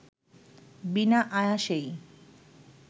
বিনা আয়াসেই